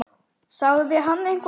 Sagði hann þetta?